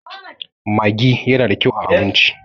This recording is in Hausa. maggi yana da kyau a abinci